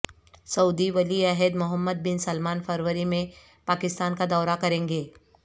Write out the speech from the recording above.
سعودی ولی عہد Mohammed bin Salman فروری میں پاکستان کا دورہ کریں گے